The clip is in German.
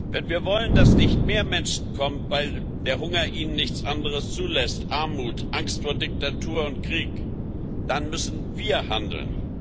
Wenn wir wollen, dass nicht mehr Menschen kommen, weil der Hunger ihnen nichts anderes zulässt Armut, Angst vor Diktatur und Krieg dann müssen wir handeln.